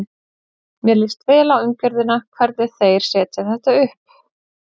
Mér líst vel á umgjörðina, hvernig þeir setja þetta upp.